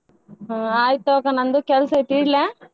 ಹ್ಮ್‌ ಆಯ್ತ್ ತಗೋ ಅಕ್ಕಾ ನಂದು ಕೆಲ್ಸ ಐತಿ ಇಡ್ಲಾ?